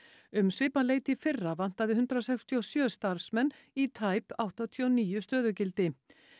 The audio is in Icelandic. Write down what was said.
um svipað leyti í fyrra vantaði hundrað sextíu og sjö starfsmenn í tæp áttatíu og níu stöðugildi